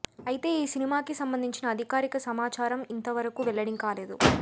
అయితే ఈ సినిమాకి సంబంధించిన అధికారిక సమాచారం ఇంత వరకూ వెల్లడికాలేదు